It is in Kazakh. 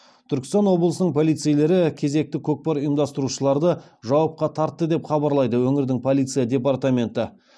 түркістан облысының полицейлері кезекті көкпар ұйымдастырушыларды жауапқа тартты деп хабарлайды өңірдің полиция департаменті